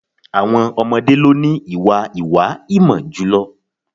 Àwọn ọmọdẹ́ ni wọ́n ní ìwà ìwá-ìmọ̀ jùlọ.